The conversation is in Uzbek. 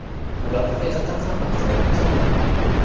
ular haqiqatan ham ajoyib insonlar.